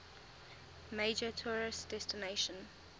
major tourist destination